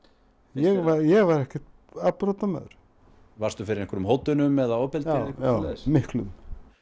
ég var ég var enginn afbrotamaður varðstu fyrir hótunum eða ofbeldi já miklu